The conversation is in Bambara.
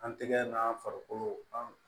An tɛgɛ n'a farikolo an